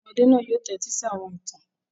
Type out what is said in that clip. Àwọn ọmọdé náà yóò tẹ́tí sí àwọn ìtàn.